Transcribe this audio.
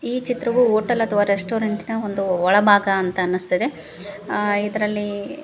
ಈ ಚಿತ್ರವೂ ಹೋಟೆಲ್ ಅಥವಾ ರೆಸ್ಟೋರೆಂಟ್ ಇನ ಒಂದು ಒಳಭಾಗ ಅಂತ ಅನ್ನಿಸ್ತಿದೆ ಆ ಇದರಲ್ಲಿ --